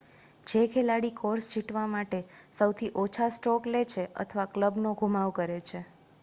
જે ખેલાડી કોર્સ જીતવા માટે સૌથી ઓછા સ્ટ્રોક લે છે અથવા ક્લબનો ધુમાવ કરે છે